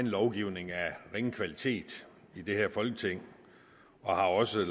lovgivning af ringe kvalitet i det her folketing og har også